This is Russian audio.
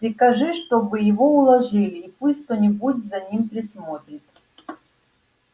прикажи чтобы его уложили и пусть кто-нибудь за ним присмотрит